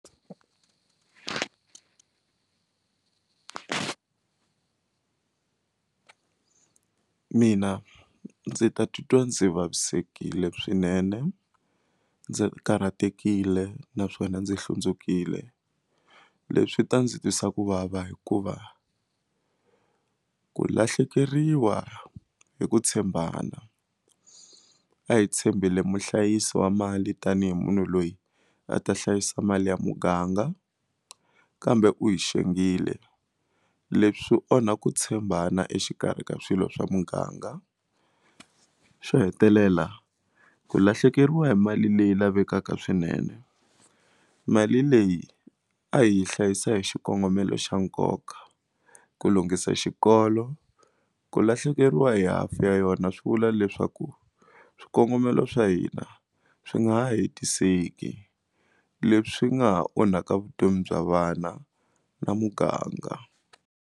Mina ndzi ta titwa ndzi vavisekile swinene ndzi karhatekile naswona ndzi hlundzukile leswi ta ndzi twisa ku vava hikuva ku lahlekeriwa hi ku tshembana a hi tshembile muhlayisi wa mali tanihi munhu loyi a ta hlayisa mali ya muganga kambe u hi xengile leswi onha ku tshembana exikarhi ka swilo swa muganga xo hetelela ku lahlekeriwa hi mali leyi lavekaka swinene mali leyi a hi hlayisa hi xikongomelo xa nkoka ku lunghisa xikolo ku lahlekeriwa hi hafu ya yona swi vula leswaku swikongomelo swa hina swi nga ha hetiseki leswi nga ha onhaka vutomi bya vana na muganga.